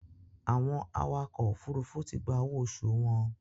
Àwọn awakọ̀ òfurufú ti gba owó oṣù wọn.